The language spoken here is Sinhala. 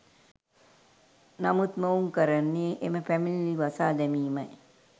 නමුත් මොවුන් කරනේ එම පැමිණිලි වසා දැමීමයි.